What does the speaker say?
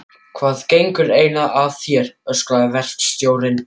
Hvað gengur eiginlega að þér? öskraði verkstjórinn.